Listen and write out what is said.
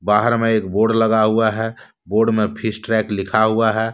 बहार हमें बोर्ड लगा हुआ है बोर्ड मे फिश ट्रैक लिखा हुआ है।